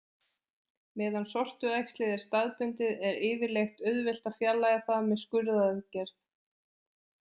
Meðan sortuæxlið er staðbundið er yfirleitt auðvelt að fjarlægja það með skurðaðgerð.